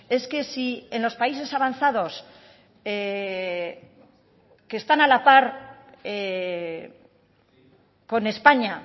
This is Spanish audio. es que si en los países avanzados que están a la par con españa